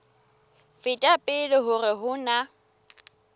feta pele hore ho na